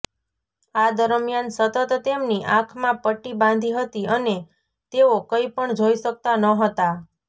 આ દરમ્યાન સતત તેમની આંખમાં પટ્ટી બાંધી હતી અને તેઓ કંઇ પણ જોઇ શકતા નહોતા